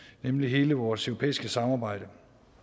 nemlig hele vores europæiske samarbejde